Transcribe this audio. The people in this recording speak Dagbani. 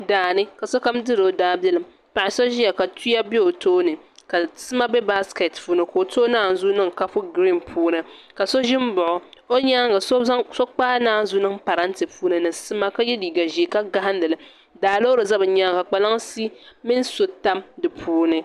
Daani ka sokam diri o daabilim ka so ʒiyaka tuya bɛ o tooni ka sima bɛ baskɛt puuni ka o tooi naanzuu niŋ kapu giriin puuni ka so ʒi n baɣa o o nyaanga so kpaai naanzuu niŋ parantɛ puuni ni sima ka yɛ liiga ʒiɛ ka gahandili daa loori ʒɛ bi nyaanga kpalansi mini so tam di puuni